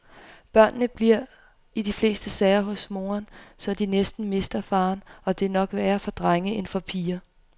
Børnene bliver i de fleste sager hos moren, så de næsten mister faren og det er nok værre for drenge end for piger.